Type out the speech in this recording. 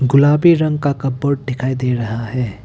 गुलाबी रंग का कपबोर्ड दिखाई दे रहा है।